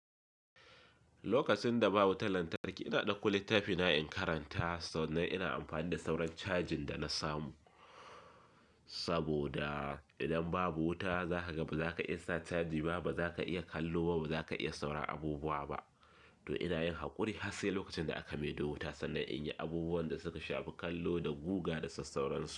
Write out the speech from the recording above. Lokacin da babu wutan lantarki, ina ɗaukan littafina in karanta sannan ina amfani da sauran cajin da na samu. Saboda idan babu wuta zaka ga ba za ka iya sa caji ba, ba za ka iya kallo ba, ba za ka iya sauran abubuwa ba. To ina yin haƙuri hatsi lokacin da aka mai da wuta sannan in yi abubuwan da suka shafi kallo da guga da sassauransu.